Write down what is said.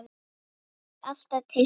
Þau voru alltaf til staðar.